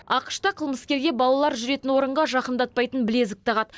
ақш та қылмыскерге балалар жүретін орынға жақындатпайтын білезік тағады